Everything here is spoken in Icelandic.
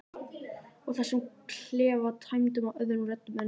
Og þessum klefa tæmdum af öðrum röddum en minni.